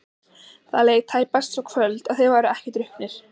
Það leið tæpast svo kvöld að þeir væru ekki drukknir.